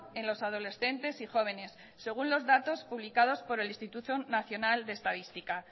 en los adolescentes y jóvenes según los datos publicados por el instituto nacional de estadística